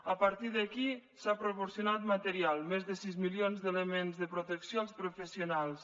a partir d’aquí s’ha proporcionat material més de sis milions d’elements de protecció als professionals